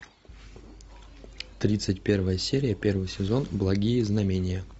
тридцать первая серия первый сезон благие знамения